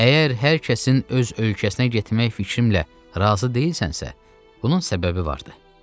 Əgər hər kəsin öz ölkəsinə getmək fikrimlə razı deyilsənsə, bunun səbəbi var idi.